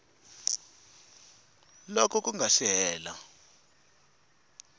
loko ku nga si hela